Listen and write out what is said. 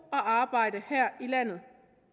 og arbejde her i landet